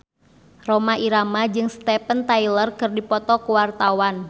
Rhoma Irama jeung Steven Tyler keur dipoto ku wartawan